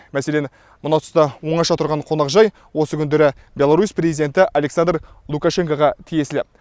мәселен мына тұста оңаша тұрған қонақжай осы күндері беларусь президенті александр лукашенкоға тиесілі